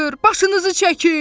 Başınızı çəkin!